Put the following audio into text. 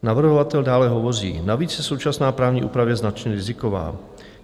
Navrhovatel dále hovoří: Navíc je současná právní úprava značně riziková.